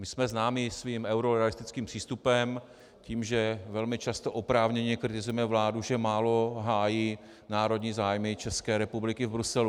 My jsme známi svým eurorealistickým přístupem, tím, že velmi často oprávněně kritizujeme vládu, že málo hájí národní zájmy České republiky v Bruselu.